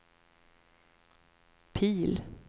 Pihl